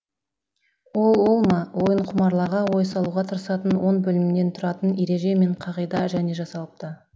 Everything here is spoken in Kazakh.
ол ол ма ойынқұмарларға ой салуға тырысатын он бөлімнен тұратын ереже мен қағида және жасалыпты